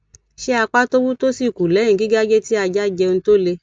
se apa to wu to si ku leyin gigaje ti aja je ohun to le